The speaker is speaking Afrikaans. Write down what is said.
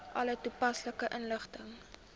alle toepaslike inligting